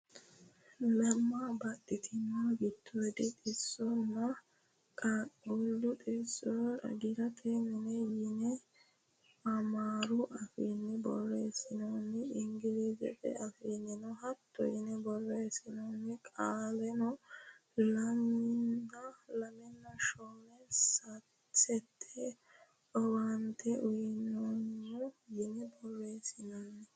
Lemma baxxitino giddoodi xisso nna qaaqquullu xisso xagisate mine yine amaaru afiinni borreessinoonni. ingilizete afiinnino hatto yine borreessinoonni. Qolleno lemiina shoole saate owaante uyineemmo yine borreessinoonni.